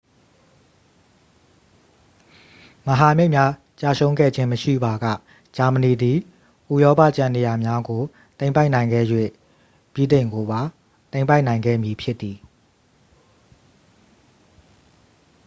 မဟာမိတ်များ ကျရှုံးခဲ့ခြင်း မရှိပါက ဂျာမဏီသည် ဥရောပ ကျန်နေရာများကို သိမ်းပိုက်နိုင်ခဲ့၍ ဗြိတိန်ကိုပါ သိမ်းပိုက်နိုင်ခဲ့မည်ဖြစ်သည်